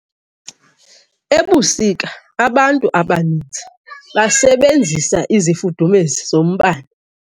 Ebusika abantu abaninzi basebenzisa izifudumezi zombane.